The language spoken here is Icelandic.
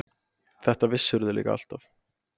Þetta vissirðu líka alltaf.